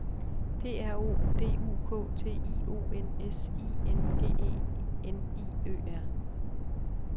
P R O D U K T I O N S I N G E N I Ø R